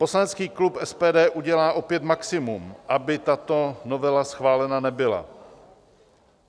Poslanecký klub SPD udělá opět maximum, aby tato novela schválena nebyla.